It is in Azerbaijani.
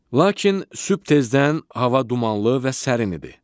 Lakin sübh tezdən hava dumanlı və sərin idi.